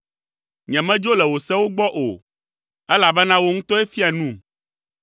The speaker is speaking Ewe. Nyemedzo le wò sewo gbɔ o, elabena wò ŋutɔe fia num.